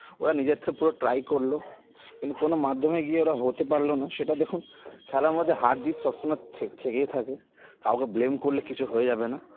ওরা নিজের থ্রো পুরো try করলো কিন্তু কোনো মাধ্যমে গিয়ে ওরা হতে পারলোনা সেটাতে খুব খেলার মধ্যে হার জিত সবসময় থেক থেকেই থাকে কাউকে blame করলে কিছু হয়ে যাবে না